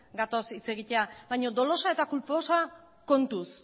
gatoz hitz egitera baino dolosa eta kulposa kontuz